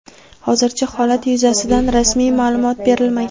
Hozircha holat yuzasidan rasmiy ma’lumot berilmagan.